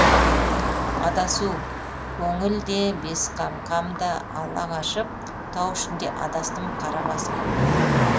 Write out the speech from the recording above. адасу көңіл де бесқақам да ала қашып тау ішінде адастым қара басып